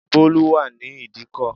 Bólú wà ní ìdíkò